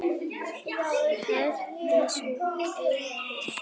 Herdís og Auður.